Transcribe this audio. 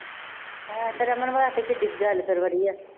ਹੈਂ ਅਤੇ ਰਮਨ ਵਾਸਤੇ ਕਿੱਡੀ ਕੁ ਗੱਲ ਫੇਰ ਵਧੀਆ